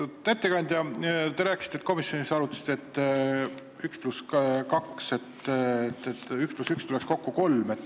Lugupeetud ettekandja, te komisjonis arutasite, et üks pluss üks tuleks kokku kolm.